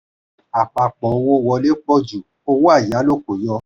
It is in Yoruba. àpapò owó wọlé pọ̀ jù owó ayálò kò yọ.